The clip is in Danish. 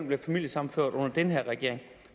bliver familiesammenført under den her regering